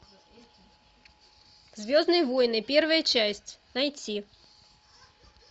звездные войны первая часть найти